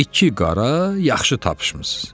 İki qara, yaxşı tapşımısız.